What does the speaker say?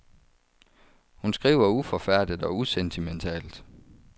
Hun skriver uforfærdet og usentimentalt.